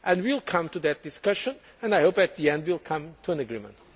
We will come to that discussion and, I hope, at the end, we will come to an agreement.